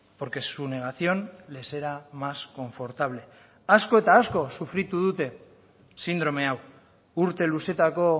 porque su negación les era más confortable asko eta asko sufritu dute sindrome hau urte luzetako